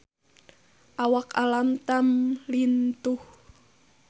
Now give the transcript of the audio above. Awak Alam Tam lintuh